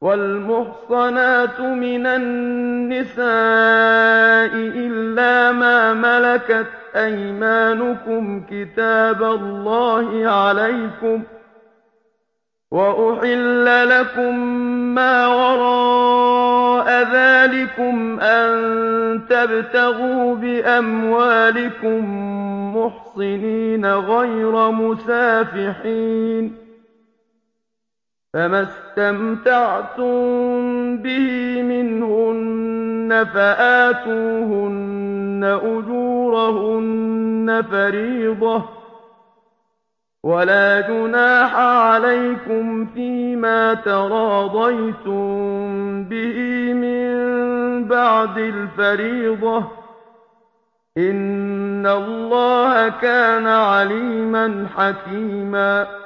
وَالْمُحْصَنَاتُ مِنَ النِّسَاءِ إِلَّا مَا مَلَكَتْ أَيْمَانُكُمْ ۖ كِتَابَ اللَّهِ عَلَيْكُمْ ۚ وَأُحِلَّ لَكُم مَّا وَرَاءَ ذَٰلِكُمْ أَن تَبْتَغُوا بِأَمْوَالِكُم مُّحْصِنِينَ غَيْرَ مُسَافِحِينَ ۚ فَمَا اسْتَمْتَعْتُم بِهِ مِنْهُنَّ فَآتُوهُنَّ أُجُورَهُنَّ فَرِيضَةً ۚ وَلَا جُنَاحَ عَلَيْكُمْ فِيمَا تَرَاضَيْتُم بِهِ مِن بَعْدِ الْفَرِيضَةِ ۚ إِنَّ اللَّهَ كَانَ عَلِيمًا حَكِيمًا